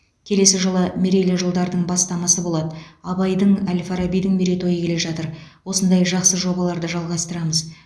келесі жылы мерейлі жылдардың бастамасы болады абайдың әл фарабидің мерейтойы келе жатыр осындай жақсы жобаларды жалғастырамыз